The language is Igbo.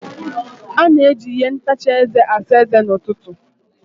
A na-eji ihe ntacha eze asa eze n'ụtụtụ.